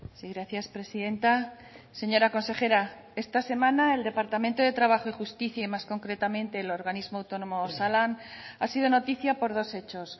sí gracias presidenta señora consejera esta semana el departamento de trabajo y justicia y más concretamente el organismo autónomo osalan ha sido noticia por dos hechos